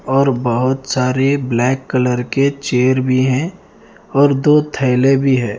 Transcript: और बहोत सारे ब्लैक कलर के चेयर भी हैं और दो थैले भी है।